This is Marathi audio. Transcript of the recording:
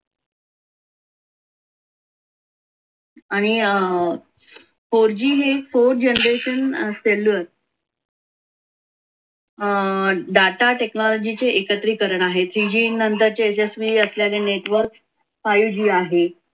आणि अं four g हे four generation cellular अं data technology चे एकत्रीकरण आहे three g नंतरचे जेस्वी असल्याने network five g आहे.